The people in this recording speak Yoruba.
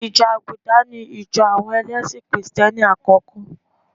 Ìjọ àgùdà ní ìjọ̀ àwọn ẹlẹ́sì kì̀rìtẹ́ni àkọ́kọ́.